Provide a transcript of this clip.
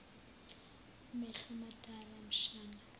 mehlo madala mshana